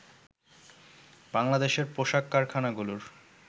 বাংলাদেশের পোশাক কারখানারগুলোর